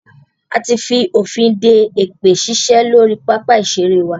A ti fònfin de èpè ṣíṣe lórí pápá ìṣeré wa.